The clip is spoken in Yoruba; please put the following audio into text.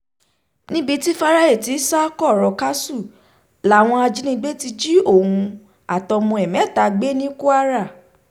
níbi tí fáráì ti ń sá kọ̀rọ̀ káṣù làwọn ajínigbé ti jí òun àtọmọ ẹ̀ mẹ́ta gbé ní kwara